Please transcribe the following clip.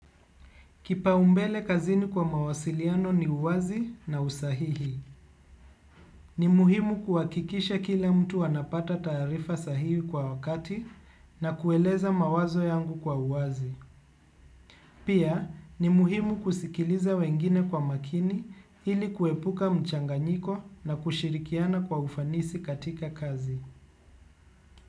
Kipaumbele kazini kwa mawasiliano ni uwazi na usahihi. Ni muhimu kuhakikisha kila mtu anapata taarifa sahihi kwa wakati na kueleza mawazo yangu kwa uwazi. Pia ni muhimu kusikiliza wengine kwa makini ili kuepuka mchanganyiko na kushirikiana kwa ufanisi katika kazi.